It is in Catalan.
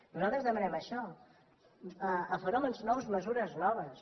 nosaltres demanem això a fenòmens nous mesures noves